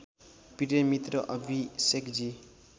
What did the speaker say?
प्रिय मित्र अभिषेकजी